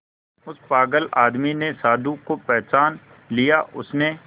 उस पागल आदमी ने साधु को पहचान लिया उसने